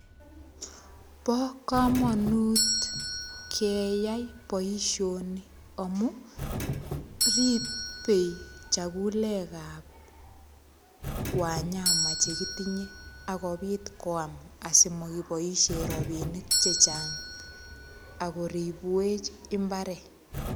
Bo kamanut keyai boisioni amu ripei chagulegab wanyama che kitinye ak kopit kwam asimogiboisien ropinik che chang ak koribwech imbaret.